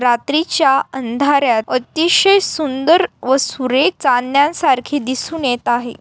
रात्रिच्या अंधाऱ्यात अतिशय शुंदर व सुरेख चांदन्या सारखी दिसून येत आहे.